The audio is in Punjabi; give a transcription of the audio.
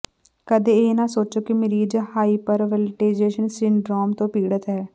ਕਦੇ ਇਹ ਨਾ ਸੋਚੋ ਕਿ ਮਰੀਜ਼ ਹਾਈਪਰਵੈਂਟਿਲੇਸ਼ਨ ਸਿੰਡਰੋਮ ਤੋਂ ਪੀੜਤ ਹੈ